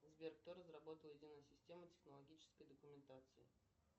сбер кто разработал единую систему технологической документации